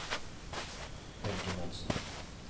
Helge Monsen